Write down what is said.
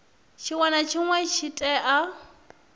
tshinwe na tshinwe tshi tea